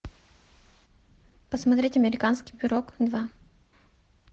посмотреть американский пирог два